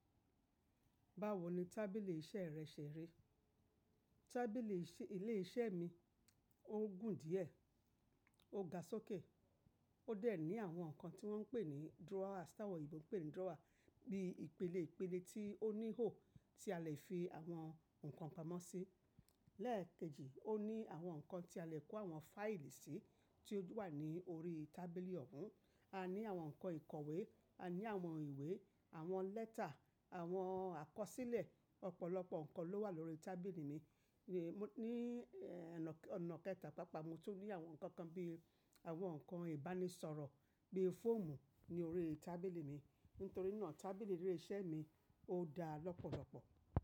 Báwo ni tábìlì iṣẹ́ rẹ ṣẹ̀ rí? Tábìlì ilé iṣẹ́ mi, ó gùn díẹ̀, ó ga sókè. Ó dẹ̀ ní àwọn nǹkan tí wọ́n ń pè ní drawer, ta won ọ̀yinbò pè ní drawer, bí ìpele ìpele tí ó ní hò tí a lè fi àwọn nǹkan pamọ́ sí. Lẹ́ẹ̀kejì, ó ní àwọn nǹkan tí a lè kó àwọn fáìlì sí tí ó wà ní orí tábìlì ọ̀hún. A ní àwọn nǹkan ìkọ̀wé, a ní àwọn ìwé, àwọn lẹ́tà, àwọn àkọsílẹ̀. Ọ̀pọ̀lọpọ̀ nǹkan ló wà lórí tábìlì mi. Ni ẹ̀, ọ̀nà kẹta papa, mo tún rí àwọn nǹkan kan bí àwọn nǹkan ìbánisọ̀rọ̀ bí fọ́ọ̀mù ní orí tábìlì mi. Nítorí náà tábìlì ilé iṣẹ́ mi ò dá lọ́pọ̀lọpọ̀.